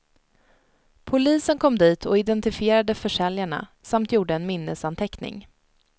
Polisen kom dit och identifierade försäljarna, samt gjorde en minnesanteckning.